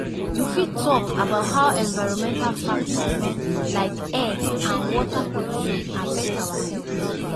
You fit talk about how environmental factors like air and water pollution affect our health.